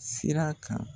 Sira kan